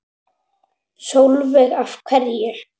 Sólveig: Af hverju?